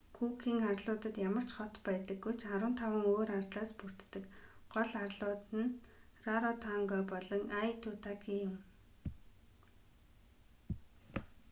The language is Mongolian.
күүкийн арлуудад ямар ч хот байдаггүй ч 15 өөр арлаас бүрддэг гол арлууд нь раротонга болон айтутаки юм